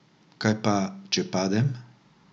Kaj pa, če padem?